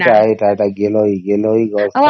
ହଁ ସେଇଟା ସେଇଟା ଗୀଲାଉ ଗଛ ଟା